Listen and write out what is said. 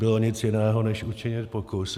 Nezbylo nic jiného než učinit pokus.